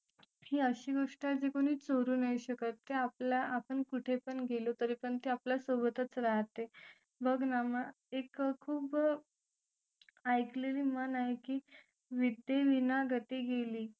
ही अशी गोष्ट आहे की कोणी चोरू नाही शकत ते आपल्या आपण कुठे पण गेलो तरी पण ते आपल्या सोबतच राहते बघ ना एक खूप ऐकलेली म्हण आहे की विद्ये विना गती गेली